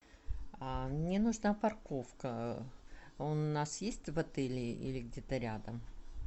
мне нужна парковка у нас есть в отеле или где то рядом